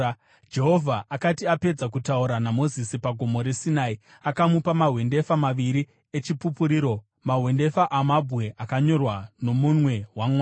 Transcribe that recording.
Jehovha akati apedza kutaura naMozisi paGomo reSinai, akamupa mahwendefa maviri eChipupuriro, mahwendefa amabwe akanyorwa nomunwe waMwari.